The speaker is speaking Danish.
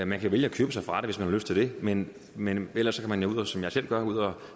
man kan vælge at købe sig fra det hvis man har lyst til det men men ellers skal man jo som jeg selv gør det ud at